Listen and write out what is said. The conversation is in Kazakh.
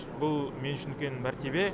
бұл мен үшін үлкен мәртебе